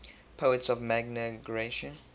poets of magna graecia